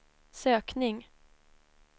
sökning